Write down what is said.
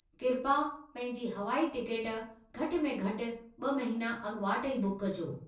किरपा पंहिंजी हवाई टिकट घटि में घटि 2 महीनो अॻुवाट ई बुक कजो।